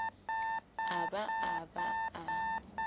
a ba a ba a